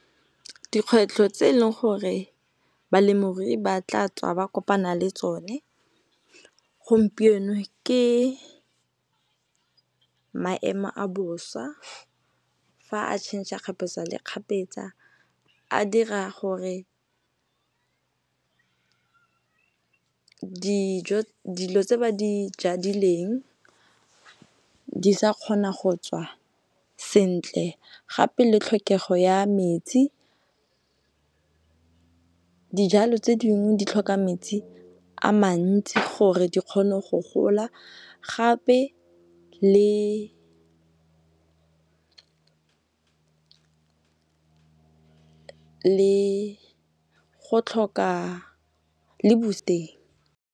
Dikgwetlho tse leng gore balemirui ba tla tswa ba kopana le tsone gompieno ke maemo a bosa fa a tšhentšha kgapetsa le kgapetsa a dira gore dijo tse ba di jadileng di sa kgona go tswa sentle. Gape le tlhokego ya metsi, dijalo tse dingwe di tlhoka metsi a mantsi gore di kgone go gola gape le go tlhoka le boost-eng.